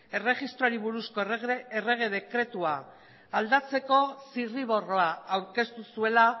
erregistroari buruzko errege dekretua aldatzeko zirriborroa aurkeztu zuela